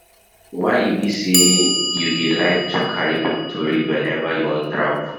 Why e be say you dey like to carry book to read whenever you wan travel.